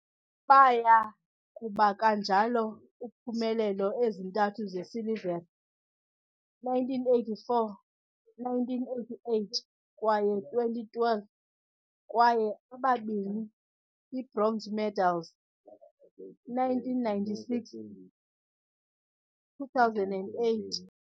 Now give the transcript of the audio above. Baya kuba kanjalo uphumelele ezintathu zesilivere 1984, 1988 kwaye 2012 kwaye ababini ibronze medals 1996, 2008.